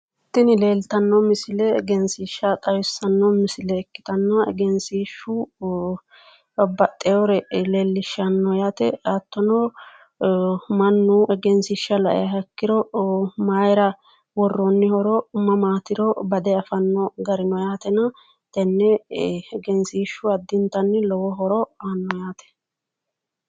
tinni leeliitano misile leeliishanohu egeenisiishsha xawisano ikkitanna egesishshu babbaxewore leeliishano hatono manu egenisisishsha laiha ikkiro mayira woroniro mamatiri badee afaanogarri no yaate